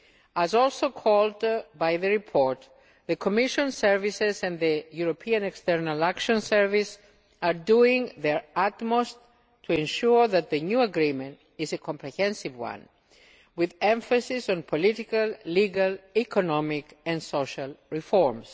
As also called for by the report, the Commission services and the EEAS are doing their utmost to ensure that the new agreement is a comprehensive one, with emphasis on political, legal, economic and social reforms.